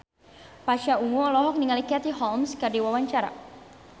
Pasha Ungu olohok ningali Katie Holmes keur diwawancara